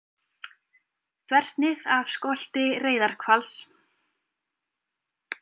Þversnið af skolti reyðarhvals.